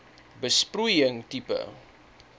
besproeiing tipe